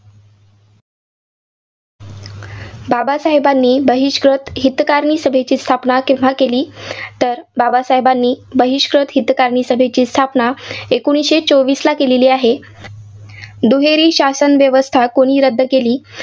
बाबासाहेबांनी बहिष्कृत हितकारणी सभेची स्थापना केव्हा केली? तर बाबासाहेबांनी बहिष्कृत हितकारणी सभेची स्थापना एकोणीसशे चोवीसला केलेली आहे. दुहेरी शासन व्यवस्था कोणी रद्द केली?